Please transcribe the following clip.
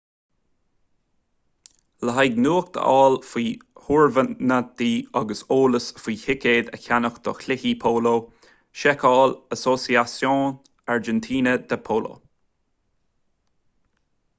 le haghaidh nuacht a fháil faoi thurnaimintí agus eolas faoi thicéid a cheannach do chluichí póló seiceáil asociacion argentina de polo